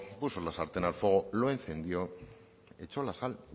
puso la sartén al fuego lo encendió echo la sal